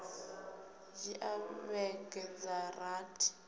dzhia vhege dza rathi uya